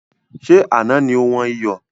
Ṣé Àná ni ó wọn iyọ̀?